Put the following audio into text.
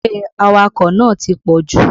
Eré awakọ̀ nàá ti pọ̀jù.